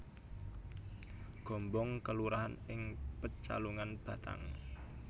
Gombong kelurahan ing Pecalungan Batang